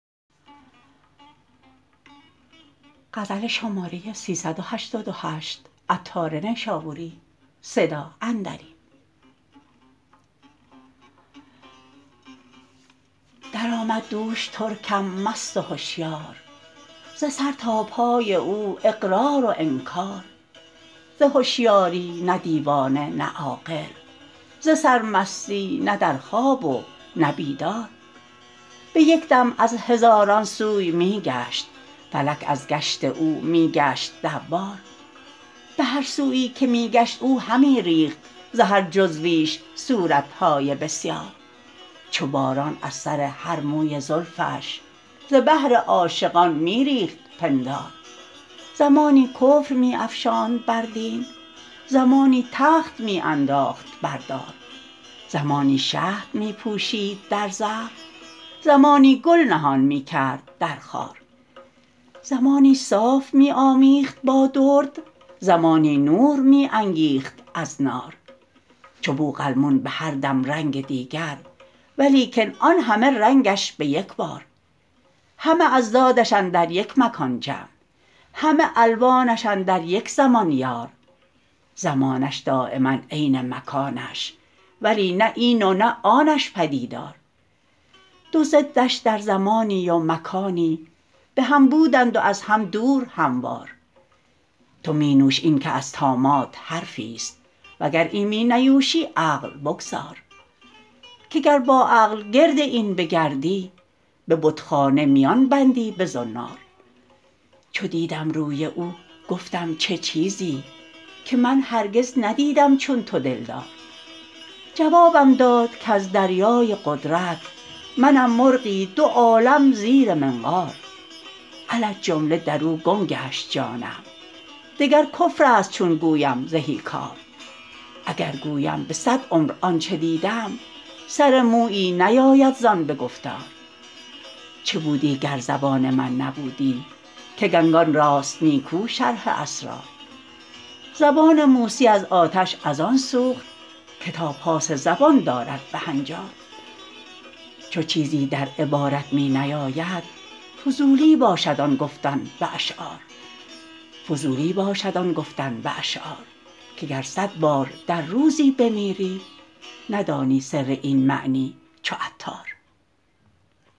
درآمد دوش ترکم مست و هشیار ز سر تا پای او اقرار و انکار ز هشیاری نه دیوانه نه عاقل ز سرمستی نه در خواب و نه بیدار به یک دم از هزاران سوی می گشت فلک از گشت او می گشت دوار به هر سویی که می گشت او همی ریخت ز هر جزویش صورت های بسیار چو باران از سر هر موی زلفش ز بهر عاشقان می ریخت پندار زمانی کفر می افشاند بر دین زمانی تخت می انداخت بردار زمانی شهد می پوشید در زهر زمانی گل نهان می کرد در خار زمانی صاف می آمیخت با درد زمانی نور می انگیخت از نار چو بوقلمون به هر دم رنگ دیگر ولیکن آن همه رنگش به یکبار همه اضدادش اندر یک مکان جمع همه الوانش اندر یک زمان یار زمانش دایما عین مکانش ولی نه این و نه آنش پدیدار دو ضدش در زمانی و مکانی به هم بودند و از هم دور هموار تو منیوش این که از طامات حرفی است وگر این می نیوشی عقل بگذار که گر با عقل گرد این بگردی به بتخانه میان بندی به زنار چو دیدم روی او گفتم چه چیزی که من هرگز ندیدم چون تو دلدار جوابم داد کز دریای قدرت منم مرغی دو عالم زیر منقار علی الجمله در او گم گشت جانم دگر کفر است چون گویم زهی کار اگر گویم به صد عمر آنچه دیدم سر مویی نیاید زان به گفتار چه بودی گر زبان من نبودی که گنگان راست نیکو شرح اسرار زبان موسی از آتش از آن سوخت که تا پاس زبان دارد به هنجار چو چیزی در عبارت می نیاید فضولی باشد آن گفتن به اشعار که گر صد بار در روزی بمیری ندانی سر این معنی چو عطار